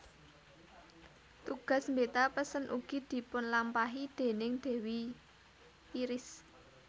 Tugas mbeta pesen ugi dipunlampahi déning dewi Iris